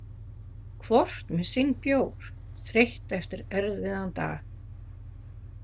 Hvort með sinn bjór, þreytt eftir erfiðan dag.